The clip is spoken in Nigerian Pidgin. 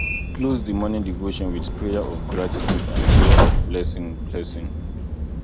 close di morning devotion with prayer of gratitude and prayer of blessing blessing